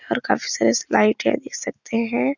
और काफी सारी है देख सकते हैं।